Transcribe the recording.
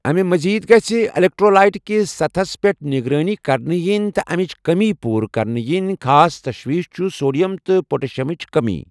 امہِ مزید گَژھہِ الیکٹرٛولایِٹ کِس سطحس پیٛٹھ نِگرٲنی کرنہٕ یِنۍ تہٕ امِچ کٔمی پوٗرٕ کرنہٕ یِنۍ، خاص تشویش چھُ سوڈیم تہٕ پوٹیشیمٕچ کمی۔